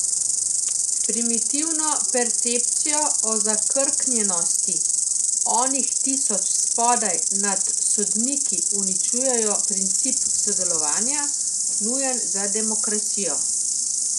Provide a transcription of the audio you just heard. S primitivno percepcijo o zakrknjenosti onih tisoč spodaj nadsodniki uničujejo princip sodelovanja, nujen za demokracijo.